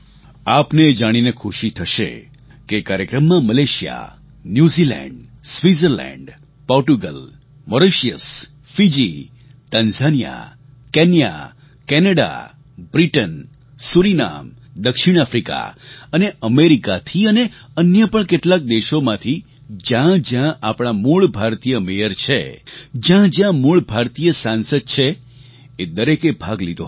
આપને એ જાણીને ખુશી થશે કે એ કાર્યક્રમમાં Malaysia New Zealand Switzerland Portugal Mauritius Fiji Tanzania Kenya Canada Britain Suriname દક્ષિણ આફ્રિકા અને અમેરિકાથી અને અન્ય પણ કેટલાક દેશોમાંથી જ્યાં જ્યાં આપણાં મૂળ ભારતીય મેયર છે જ્યાં જ્યાં મૂળ ભારતીય સાંસદ છે એ દરેકે ભાગ લીધો હતો